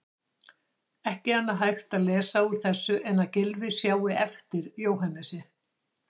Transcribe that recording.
Ekki annað hægt að lesa úr þessu en að Gylfi sjái eftir Jóhannesi.